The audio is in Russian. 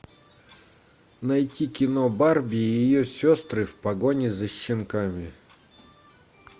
найти кино барби и ее сестры в погоне за щенками